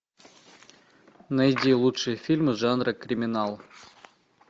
найди лучшие фильмы жанра криминал